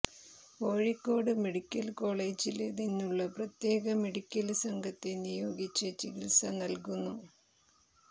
Kozhikode medical കോളേജില് നിന്നുള്ള പ്രത്യേക മെഡിക്കല് സംഘത്തെ നിയോഗിച്ച് ചികിത്സ നല്കുന്നു